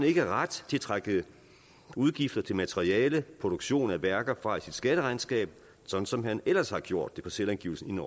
ikke ret til at trække udgifter til materiale og produktion af værker fra i sit skatteregnskab sådan som han ellers har gjort det på selvangivelsen i en